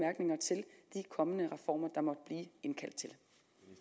kommende reformer